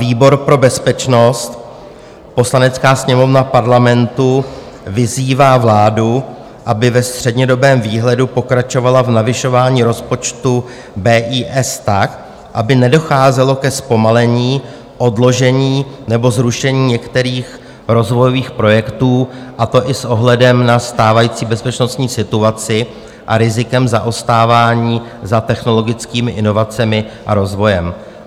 Výbor pro bezpečnost: Poslanecká sněmovna Parlamentu vyzývá vládu, aby ve střednědobém výhledu pokračovala v navyšování rozpočtu BIS tak, aby nedocházelo ke zpomalení, odložení nebo zrušení některých rozvojových projektů, a to i s ohledem na stávající bezpečnostní situaci a rizikem zaostávání za technologickými inovacemi a rozvojem."